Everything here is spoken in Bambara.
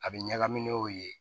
A bɛ ɲagami n'o ye